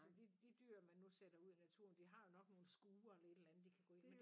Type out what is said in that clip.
Altså de de dyr man nu sætter ud i naturen de har jo nok nogle skure eller et andet de kan gå ind i